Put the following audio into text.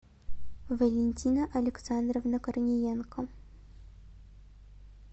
валентина александровна корниенко